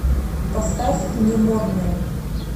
поставь не модные